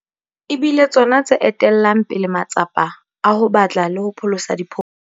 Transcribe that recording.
e bile tsona tse etellang pele matsapa a ho batla le ho pholosa diphofu.